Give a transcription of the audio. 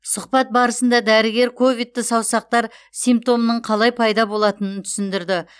сұхбат барысында дәрігер ковидті саусақтар симптомының қалай пайда болатынын түсіндірді